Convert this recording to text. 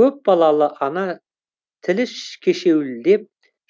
көпбалалы ана тілі кешеуілдеп